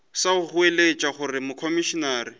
sa go goeletša gore komišenare